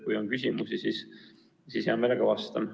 Kui on küsimusi, siis hea meelega vastan.